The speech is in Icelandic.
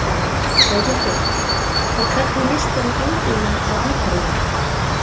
Þórhildur: Og hvernig líst þér á framtíðina á Akureyri?